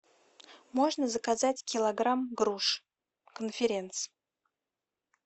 можно заказать килограмм груш конференц